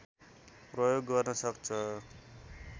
प्रयोग गर्न सक्छ